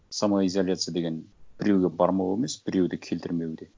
самоизоляция деген біреуге бармау емес біреуді келтірмеу де